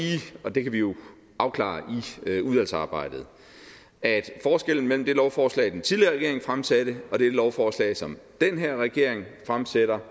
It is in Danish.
og det kan vi jo afklare i udvalgsarbejdet at forskellen mellem det lovforslag den tidligere regering fremsatte og det lovforslag som den her regering fremsætter